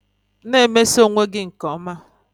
Na-emeso onwe gị nke ọma